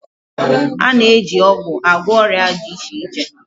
A na-eji ọgwụ agwọ ọrịa dị iche iche